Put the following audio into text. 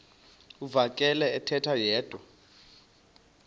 uvakele ethetha yedwa